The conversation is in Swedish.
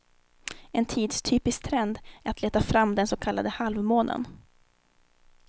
En tidstypisk trend är att leta fram den så kallade halvmånen.